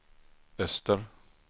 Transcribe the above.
öster